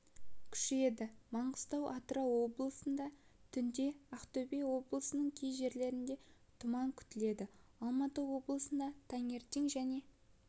күшейеді маңғыстау атырау облыстарында түнде ақтөбе облысының кей жерлерінде тұман күтіледі алматы облысында таңертең және